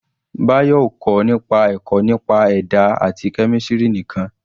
Bayo ò kọ́ nípa ẹ̀kọ́ nípa ẹ̀dá àti kẹ́mísìrì nìkan.